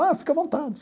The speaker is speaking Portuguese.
Ah, fica à vontade.